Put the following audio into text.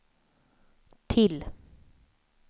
till